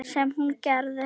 Sem hún gerði.